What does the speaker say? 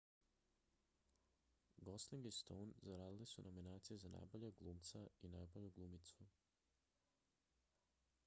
gosling i stone zaradili su nominacije za najboljeg glumca i najbolju glumicu